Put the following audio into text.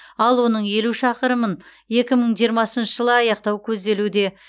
ал оның елу шақырымын екі мың жиырмасыншы жылы аяқтау көзделуде